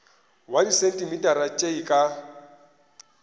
wa disentimetara tše e ka